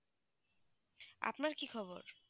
আপনার কি খবর